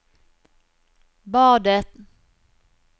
badet